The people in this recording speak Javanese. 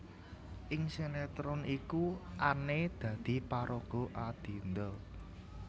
Ing sinetron iku Anne dadi paraga Adinda